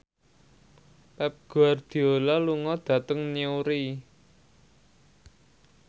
Pep Guardiola lunga dhateng Newry